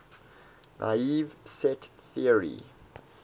naive set theory